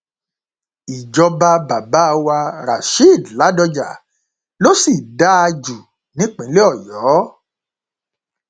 ìjọba bàbá wa rasheed ladoja ló sì dáa jù nípìnlẹ ọyọ